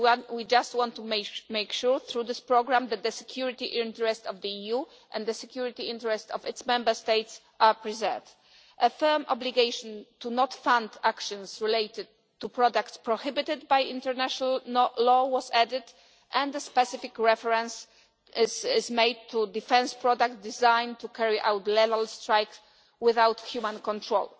we just want to make sure through this programme that the security interests of the EU and the security interests of its Member States are preserved. A firm obligation not to fund actions related to products prohibited by international law was added and a specific reference has been made to defence products designed to carry out level strikes without human control.